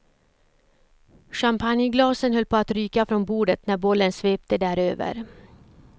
Champagneglasen höll på att ryka från bordet när bollen svepte däröver.